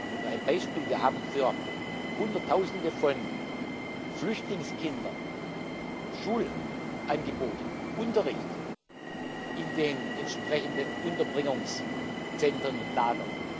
Nur ein Beispiel Wir haben für Hunderttausende von Flüchtlingskindern Schulangebote, Unterricht in den entsprechenden Unterbringungszentren und lagern.